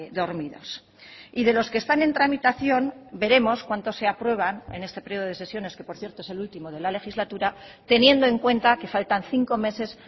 dormidos y de los que están en tramitación veremos cuantos se aprueban en este periodo de sesiones que por cierto es el último de la legislatura teniendo en cuenta que faltan cinco meses